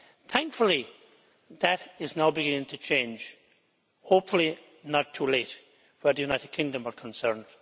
Thankfully, that is now beginning to change, hopefully not too late where the United Kingdom is concerned.